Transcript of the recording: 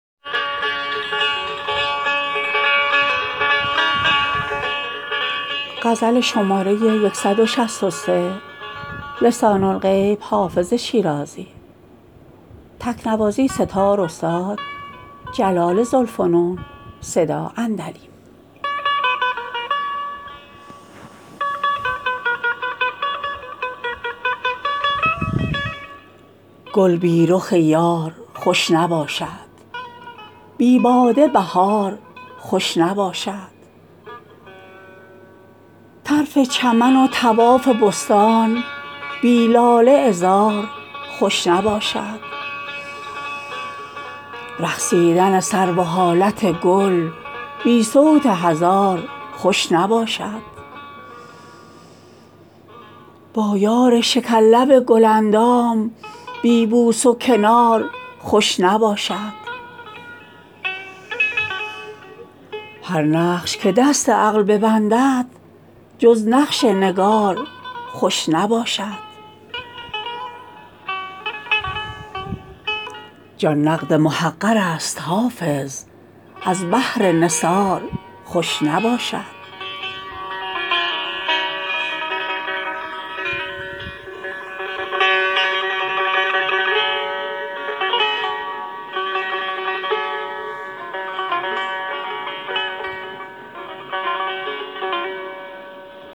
گل بی رخ یار خوش نباشد بی باده بهار خوش نباشد طرف چمن و طواف بستان بی لاله عذار خوش نباشد رقصیدن سرو و حالت گل بی صوت هزار خوش نباشد با یار شکرلب گل اندام بی بوس و کنار خوش نباشد هر نقش که دست عقل بندد جز نقش نگار خوش نباشد جان نقد محقر است حافظ از بهر نثار خوش نباشد